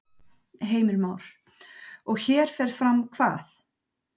Heimir Már: Og hér fer fram hvað?